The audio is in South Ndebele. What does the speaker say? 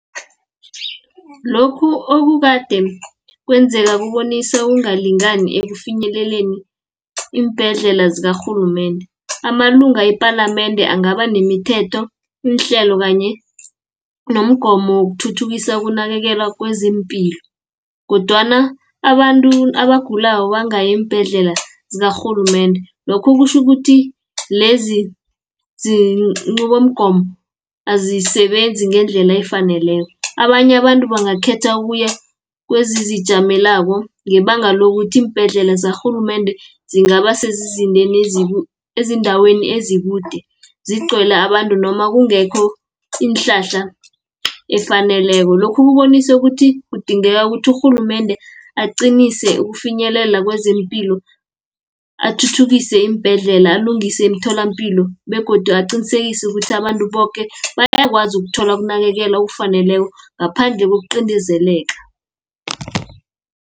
Lokhu okukade kwenzeka, kubonisa ukungalingani ekufinyeleleni iimbhedlela zikarhulumende. Amalunga epalamende angaba nemithetho, iinhlelo kanye nomgomo wokuthuthukisa ukunakekela kwezempilo, kodwana abantu abagulako bangayi iimbhedlela zikarhulumende. Lokhu kutjho ukuthi lezi ziinqubomgomo azisebenzi ngendlela efaneleko. Abanye abantu bangakhetha ukuya kwezizijamelako, ngebanga lokuthi iimbhedlela zakarhulumende zingaba ezindaweni ezikude, zigcwele abantu, noma kungekho iinhlahla efaneleko . Lokhu kubonise ukuthi kudingeka ukuthi urhulumende aqinise ukufinyelela kwezeempilo, athuthukise iimbhedlela, alungise imitholampilo, begodu aqinisekise ukuthi abantu boke bayakwazi ukuthola ukunakekelwa okufaneleko, ngaphandle kokuqindezeleka.